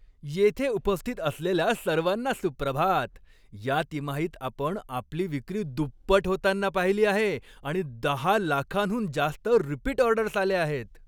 येथे उपस्थित असलेल्या सर्वांना सुप्रभात. या तिमाहीत आपण आपली विक्री दुप्पट होतान्ना पाहिली आहे आणि दहा लाखांहून जास्त रिपीट ऑर्डर्स आल्या आहेत.